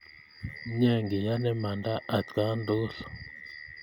Mye ian imanda atkan yukul